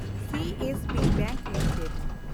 CSB bank limited